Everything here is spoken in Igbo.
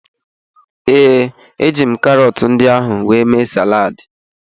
Ee, eji m karọtụ ndị ahụ wee mee saladị.